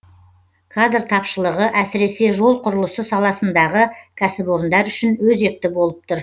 кадр тапшылығы әсіресе жол құрылысы саласындағы кәсіпорындар үшін өзекті болып тұр